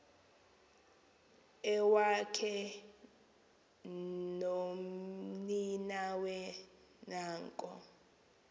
iwakhe nomninawe nanko